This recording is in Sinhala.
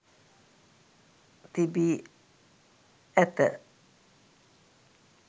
තිබී ඇත.